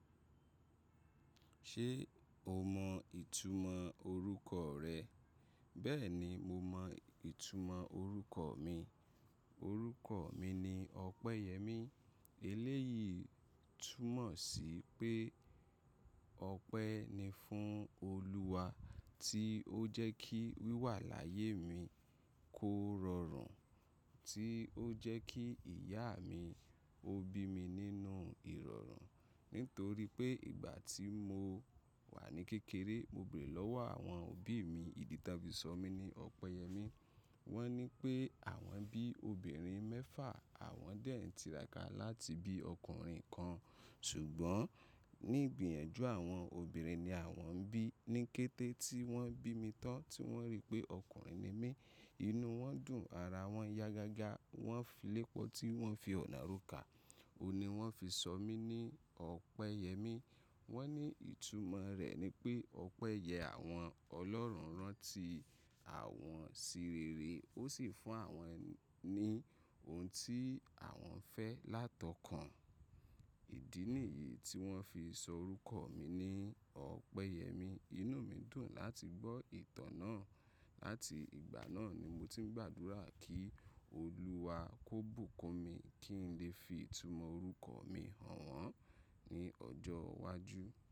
Ṣé o mọ ìtumọ̀ orúkọ rẹ? Bẹ́ẹ̀ ni mo mọ ìtumọ̀ orúkọ mi. Òrúkọ mi ni Ọpẹ́yẹ́mí. Eléyìí túmọ̀ sí pé ọpẹ́ ni fún Olúwa tí ó jẹ́ kí wìwà láyé mi kó rọrùn, tí ó jẹ́ kí ìyá mi ó bí mi nínú ìrọ̀rùn. Nítorí pé ìgbà tí mo wà ní kékeré, mo bèrè lọ́wọ́ àwọn òbí mi ìdí tí wọ́n fi sọ mí ní Ọpẹ́yẹ́mí. Wọ́n ní pé àwọn bí obìnrin mẹ́fà, àwọn dẹ̀ ń tiraka láti bí ọkùnrin kan. Ṣùgbọ́n ní ìgbìyànjú àwọn obìnrin ni àwọn ń bí. Ní kété tí wọ́n bí mi tán tí wọ́n rí pé ọkùnrin ni mí, inú wọn dùn, ara wọn yagaga, wọ́n filẹ̀ pọ̀ tí wọ́n fi ọ̀nà róka. Óun ni wọ́n fi sọ mí ní Ọpẹ́yẹ́mí. Wọ́n ní ìtumọ̀ rẹ̀ ni pé ọpẹ́ yẹ àwọn ọlọ́run rán tí àwọn ṣi rere, ó sì fún àwọn ni ohun tí àwọn fẹ́ látọkàn. Ìdí nìyí tí wọ́n fi sọ orúkọ mi ní Ọpẹ́yẹ́mí. Inú mi dùn láti gbọ́ ìtàn náà. Láti ìgbà náà ni mo ti ń gbàdúrà kí Olúwa kó bùkún mi kí n lè fi ìtumọ̀ orúkọ mi hàn wọ́n ní ọjọ́ iwájú.